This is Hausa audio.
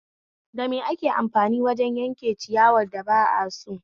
Da me ake amfani wajen yanke ciyawar da ba aso?